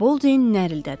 Boldin nərildədi.